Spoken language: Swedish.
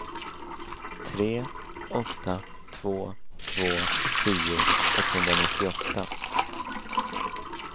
tre åtta två två tio etthundranittioåtta